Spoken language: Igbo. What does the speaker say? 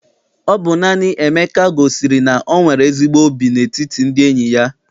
Ọ bụ naanị Emeka gosiri na o nwere ezigbo óbì n'etiti ndị enyi ya.